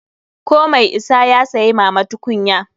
Ko mai isa ya saya mama tukunya.